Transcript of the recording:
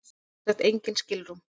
Sem sagt engin skilrúm.